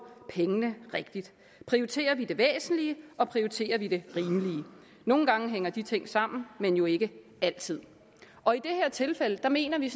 pengene rigtigt prioriterer vi det væsentlige og prioriterer vi det rimelige nogle gange hænger de ting sammen men jo ikke altid og i det her tilfælde mener vi